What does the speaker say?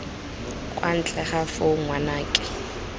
kwa ntle ga foo ngwanake